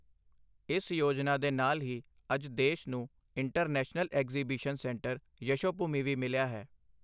ਇਸ ਯੋਜਨਾ ਦੇ ਨਾਲ ਹੀ ਅੱਜ ਦੇਸ਼ ਨੂੰ ਇੰਟਰਨੈਸ਼ਨਲ ਐਕਜ਼ੀਬਿਸ਼ਨ ਸੈਂਟਰ ਯਸ਼ੋਭੂਮੀ ਵੀ ਮਿਲਿਆ ਹੈ।